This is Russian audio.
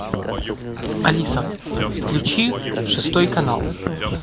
алиса включи шестой канал